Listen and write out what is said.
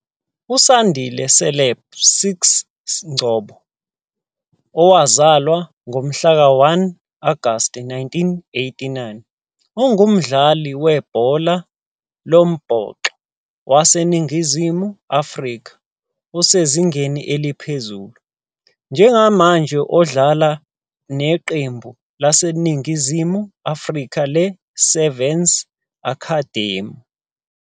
USandile Caleb "Stix" Ngcobo, owazalwa ngomhlaka 1 Agasti 1989, ungumdlali webhola lombhoxo waseNingizimu Afrika osezingeni eliphezulu, njengamanje odlala neqembu laseNingizimu Afrika le-Sevens Academy.